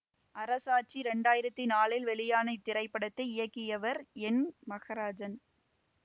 அரசாட்சி இரண்டாயிரத்தி நாலில் வெளியான இத்திரைப்படத்தை இயக்கியவர் என் மகராஜன்